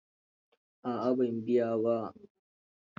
A'a, ban biya ba.